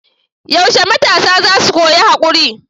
Yaushe matasa za su koyi haƙuri?